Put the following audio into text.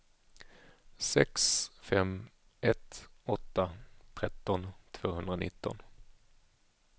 sex fem ett åtta tretton tvåhundranitton